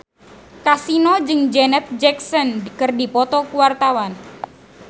Kasino jeung Janet Jackson keur dipoto ku wartawan